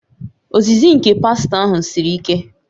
Ozizi nke pastọ ahụ siri ike